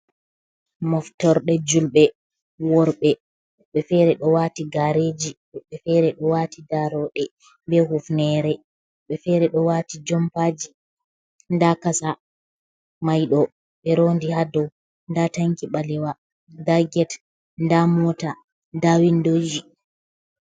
Moftorde julɓe worɓe. Ɓe fere ɗo wati gareji, ɓe feere ɗo wati daaroɗe be hufnere, ɓe fere do wati jompaji da kasa maido be rondi ha dou, da tanki balewa da get da mota da windoji.